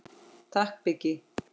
Takk Biggi.